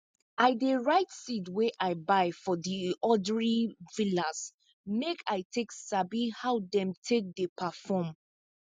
i dey write seed wey i buy from di odir villas make i take sabi how dem take dey perform